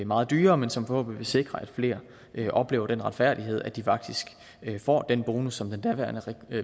meget dyrere men som forhåbentlig vil sikre at flere oplever den retfærdighed at de faktisk får den bonus som den daværende